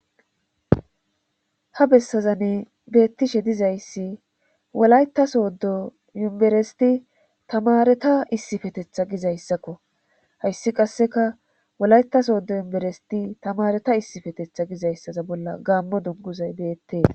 Ha bessazanne beettishe dizayssi wolayta soodo yumberesti tamareta issifetetha gizayssakko hayssi qasseka wolaytasooddo yumberesti tamareta issifetetha gizayssaza bolla gaammo dunguzay beettee.